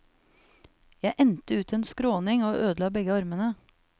Jeg endte ut en skråning og ødela begge armene.